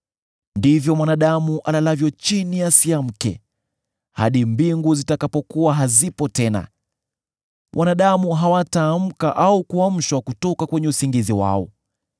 ndivyo mwanadamu alalavyo chini asiamke; hadi mbingu zitakapokuwa hazipo tena, wanadamu hawataamka au kuamshwa kutoka kwenye usingizi wao.